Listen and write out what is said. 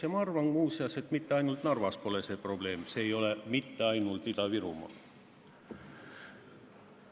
Ja ma arvan, muuseas, et mitte ainult Narvas pole see probleem, see ei ole mitte ainult Ida-Virumaal nii.